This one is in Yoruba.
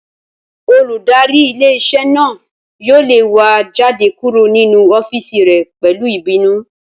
Olùdarí ilé-iṣẹ́ náà yóò lé wa jáde kúrò ninú ọ́fìsì rẹ̀ pẹ̀lú ìbínú